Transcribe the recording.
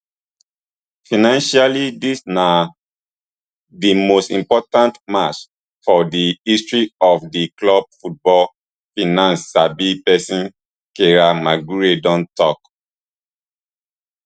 financially dis na di most important match for di history of di club football finance sabi pesin kieran maguire don tok